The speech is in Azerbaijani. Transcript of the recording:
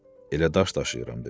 Elə daş daşıyıram, dedi.